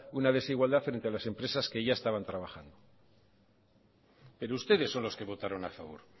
una desigualdad frente a las empresas que ya estaban trabajando pero ustedes son los que votaron a favor